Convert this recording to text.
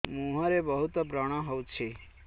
ମୁଁହରେ ବହୁତ ବ୍ରଣ ହଉଛି